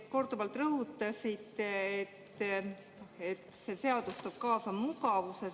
Te korduvalt rõhutasite, et see seadus toob kaasa mugavuse.